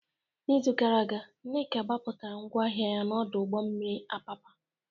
N'izu gara aga, Nneka gbapụtara ngwa ahịa ya n'ọdụ ụgbọ mmiri Apapa.